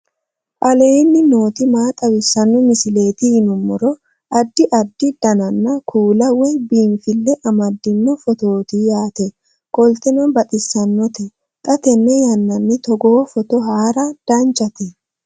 aleenni nooti maa xawisanno misileeti yinummoro addi addi dananna kuula woy biinfille amaddino footooti yaate qoltenno baxissannote xa tenne yannanni togoo footo haara danchate